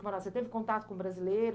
Mônaco, você teve contato com brasileiros?